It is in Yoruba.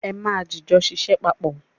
É ma jìjọ ṣiṣẹ́ papọ̀.